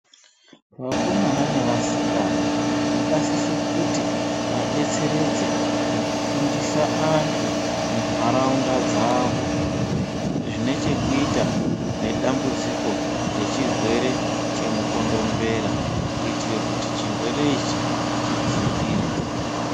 Vakomana nevasikana vakasisa kuti vadetseredze mukufundisa antu Mmunharaunda dzawo Zvine chekuita nedambudziko nechirwere chemukondombera kuitira kuti chirwere ichi chidzikire.